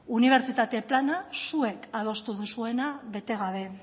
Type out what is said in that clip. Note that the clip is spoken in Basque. unibertsitate plana zuek adostu duzuena bete gabe